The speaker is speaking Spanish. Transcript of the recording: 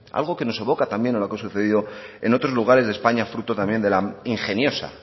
algo que nos evoca también a lo que ha sucedido en otros lugares de españa fruto también de la ingeniosa